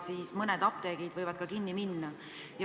Nii et mõned apteegid võivad ehk kinni minna.